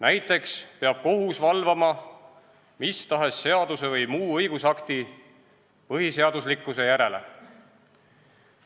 Näiteks peab kohus valvama mis tahes seaduse või muu õigusakti põhiseaduslikkuse järele.